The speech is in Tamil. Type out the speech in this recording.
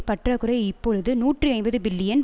பற்றாக்குறை இப்பொழுது நூற்றி ஐம்பது பில்லியன்